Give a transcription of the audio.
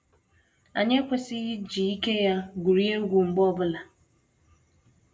Anyị ekwesịghị iji ike ya gwurie egwu mgbe ọ bụla.